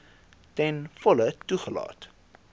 ten volle toegelaat